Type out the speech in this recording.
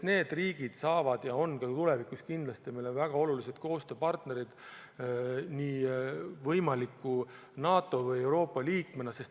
Need riigid on ka tulevikus kindlasti meile väga olulised koostööpartnerid nii võimalike NATO kui ka Euroopa Liidu liikmetena.